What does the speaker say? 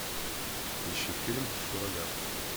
ищи фильм суррогат